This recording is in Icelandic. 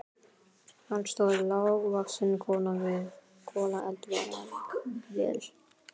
Þar stóð lágvaxin kona við kolaeldavél.